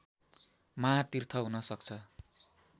महातीर्थ हुनसक्छ